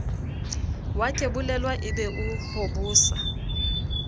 wakebolelwa e be o hobosa